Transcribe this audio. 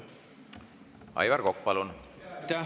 Aivar Kokk, palun!